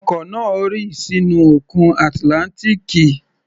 Ọkọ̀ náà rì sínú Òkun Atlántíkì